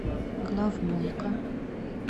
главмойка